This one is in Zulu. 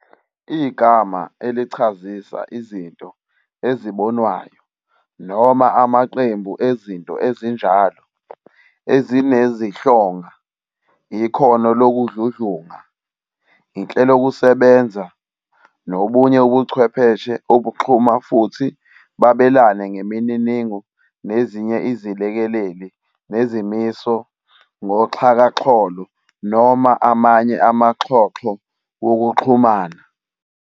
igama elichazisa izinto ezibonwayo, noma amaqembu ezinto ezinjalo, ezinezihlonga, ikhono lokudludlunga, inhlelokusebenza, nobunye ubuchwepheshe obuxhuma futhi babelane ngemininingo nazinye iziLekeleli nezimiso ngoxhakaxholo noma amanye amaxhoxho wokuxhumana.